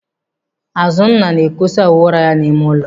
Azụnna na-ekosa uwe ụra ya n'ime ụlọ.